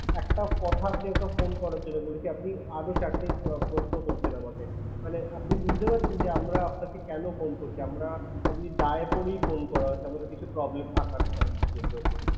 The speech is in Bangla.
একটা কথা আপনাকে phone করার জন্য বলেছি। আপনি আদৌ চারটে প্রশ্ন করছেন আমাকে। মানে আপনি বুঝতে পারছেন যে, আমরা আপনাকে কেন phone করছি? আমরা এমনি দায়ে পরেই phone করা হচ্ছে আমাদের কিছু problem থাকার জন্য।